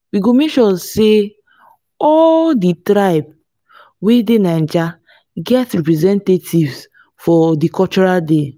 we go make sure sey all di tribes wey dey naija get representatives for di cultural day.